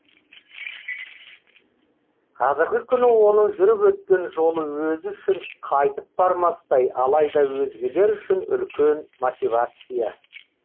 қазіргі күні оның жүріп өткен жолы өзі үшін қайтып бармастай алайда өзгелер үшін үлкен мотивация